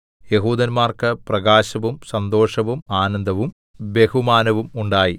യെഹൂദന്മാർക്ക് പ്രകാശവും സന്തോഷവും ആനന്ദവും ബഹുമാനവും ഉണ്ടായി